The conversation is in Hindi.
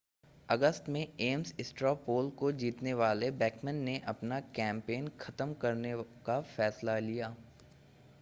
अगस्त में ऐम्स स्ट्रॉ पोल को जीतने वाली बेकमन ने अपना कैंपेन खत्म करने का फ़ैसला लिया